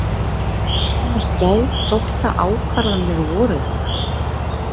Hvers konar geðþóttaákvarðanir voru þetta?